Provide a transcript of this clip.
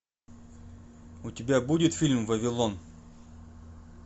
у тебя будет фильм вавилон